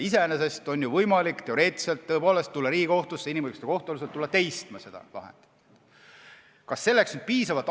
Iseenesest on ju teoreetiliselt võimalik tulla Riigikohtusse inimõiguste kohtu alusel seda lahendit teistma.